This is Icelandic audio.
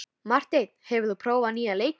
Marteinn, hefur þú prófað nýja leikinn?